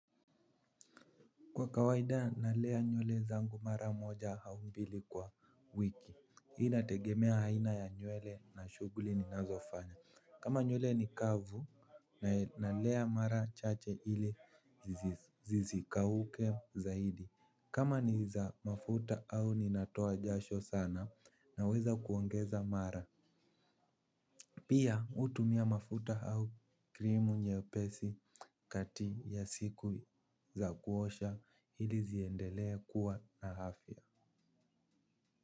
Kwa kawaida, nalea nywere zangu mara moja au mbili kwa wiki. Hii inategemea aina ya nywere na shughuli ninazofanya. Kama nywere ni kavu, nalea mara chache ili zisikauke zaidi. Kama ni za mafuta au ninatoa jasho sana naweza kuongeza mara. Pia hutumia mafuta au krimu nyepesi kati ya siku za kuosha ili ziendelea kuwa na afya.